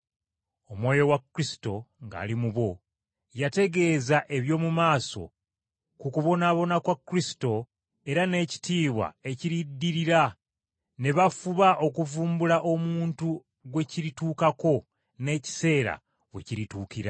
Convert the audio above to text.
Omwoyo wa Kristo ng’ali mu bo, yategeeza eby’omu maaso ku kubonaabona kwa Kristo era n’ekitiibwa ekiriddirira, ne bafuba okuvumbula omuntu gwe kirituukako n’ekiseera we kirituukira.